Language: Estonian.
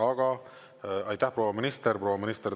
Aga aitäh, proua minister!